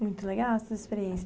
Muito legal essa experiência.